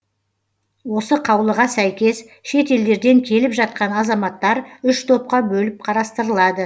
осы қаулыға сәйкес шет елдерден келіп жатқан азаматтар үш топқа бөліп қарастырылады